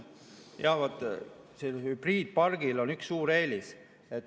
Jah, sellisel hübriidpargil on üks suur eelis.